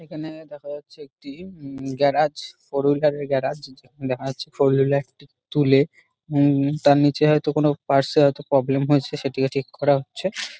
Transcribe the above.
এইখানে দেখা যাচ্ছে একটি উম গ্যারাজ ফোর হুইলার -এর গ্যারাজ যেখানে দেখানো হচ্ছে ফোর হুইলার -টি তুলে উম তার নিচে হয়তো কোনো পার্টস - এ হয়তো প্রব্লেম হয়েছে সেটিও ঠিক করা হচ্ছে।